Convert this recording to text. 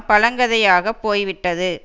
பழங்கதையாக போய் விட்டது